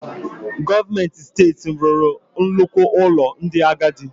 Gọọmenti Steeti m rụrụ nnukwu ụlọ ndị agadi.